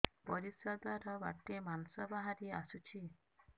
ପରିଶ୍ରା ଦ୍ୱାର ବାଟେ ମାଂସ ବାହାରି ଆସୁଛି